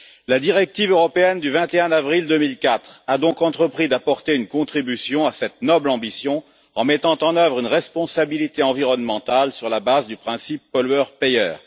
La directive européenne du 21 avril 2004 a donc entrepris d'apporter une contribution à cette noble ambition, en mettant en œuvre une responsabilité environnementale sur la base du principe du pollueur payeur.